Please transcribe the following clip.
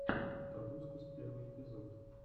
тобускус первый эпизод